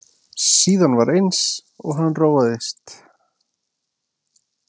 Síðan var eins og hann róaðist.